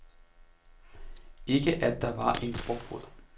Ikke at der var en frugtbod.